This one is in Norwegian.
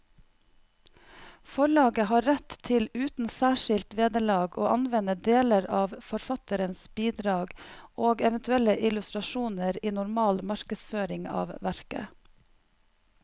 Forlaget har rett til uten særskilt vederlag å anvende deler av forfatterens bidrag og eventuelle illustrasjoner i normal markedsføring av verket.